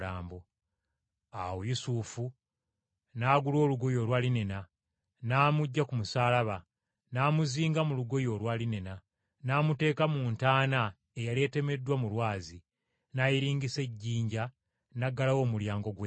Awo Yusufu n’agula olugoye olwa linena, n’amuggya ku musaalaba, n’amuzinga mu lugoye olwa linena, n’amuteeka mu ntaana eyali etemeddwa mu lwazi, n’ayiringisa ejjinja n’aggalawo omulyango gw’entaana.